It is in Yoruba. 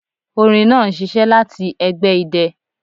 Orin naa n ṣiṣẹ lati ẹgbẹ idẹ